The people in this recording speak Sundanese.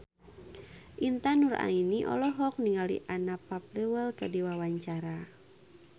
Intan Nuraini olohok ningali Anna Popplewell keur diwawancara